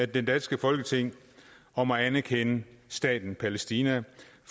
det danske folketing om at anerkende staten palæstina